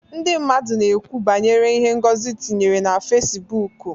Ndị mmadụ na-ekwu banyere ihe Ngozi tinyere na Fesibuuku.